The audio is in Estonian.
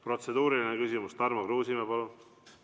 Protseduuriline küsimus, Tarmo Kruusimäe, palun!